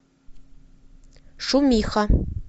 шумиха